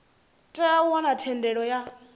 tea u wana thendelo ya